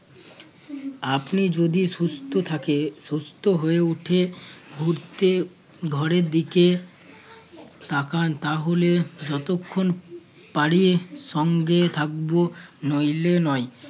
আপনি যদি সুস্থ থাকে~ সুস্থ হয়ে ওঠে ঘুরতে ঘরের দিকে তাকান তাহলে যতক্ষণ পালিয়ে সঙ্গে থাকব নইলে নয়